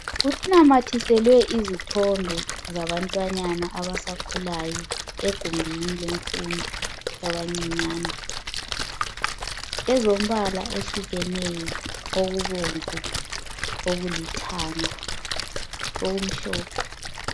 Kunamathiselwe izithombe zabantwana abancani abasakhulayo egumbini lemfundo yabancinyane ezombala ehlukeneyo okubomvu okulithanga okumhlophe